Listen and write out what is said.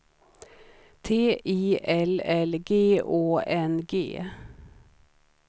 T I L L G Å N G